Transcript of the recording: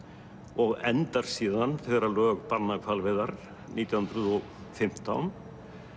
og endar síðan þegar lög banna hvalveiðar nítján hundruð og fimmtán